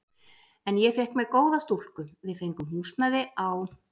En ég fékk með mér góða stúlku, við fengum húsnæði á